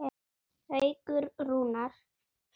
Haukur Rúnar.